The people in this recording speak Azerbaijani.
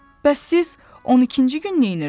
Bəs siz 12-ci gün neynirdiz?